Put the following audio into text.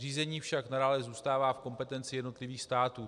Řízení však nadále zůstává v kompetenci jednotlivých států.